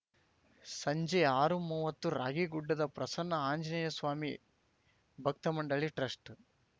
ಸಂಜೆ ಆರುಮೂವತ್ತು ರಾಗೀಗುಡ್ಡದ ಪ್ರಸನ್ನ ಆಂಜನೇಯಸ್ವಾಮಿ ಭಕ್ತಮಂಡಳಿ ಟ್ರಸ್ಟ್‌